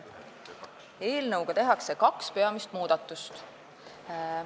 Eelnõuga tehakse kaks peamist muudatust.